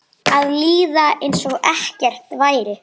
Að líða einsog ekkert væri.